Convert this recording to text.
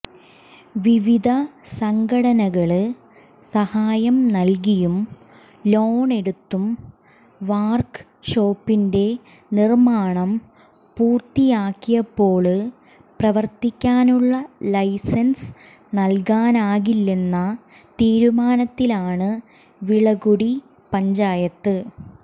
വിവിധ സംഘടനകള് സഹായം നല്കിയും ലോണെടുത്തും വര്ക് ഷോപ്പിന്റെ നിര്മാണം പൂര്ത്തിയാക്കിയപ്പോള് പ്രവര്ത്തിക്കാനുള്ള ലൈസന്സ് നല്കാനാകില്ലെന്ന തീരുമാനത്തിലാണ് വിളക്കുടി പഞ്ചായത്ത്